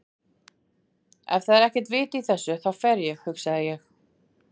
Ef það er ekkert vit í þessu þá fer ég, hugsaði ég.